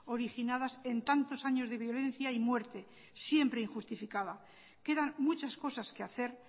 originadas en tantos años de violencia y muerte siempre injustificada quedan muchas cosas que hacer